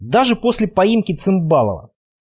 даже после поимки цымбалова